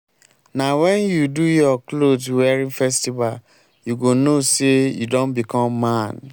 na wen you do your clot wearing festival you go know say you don become man.